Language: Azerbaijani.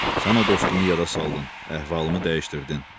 Sən o dostumu yada saldın, əhvalımı dəyişdirdin.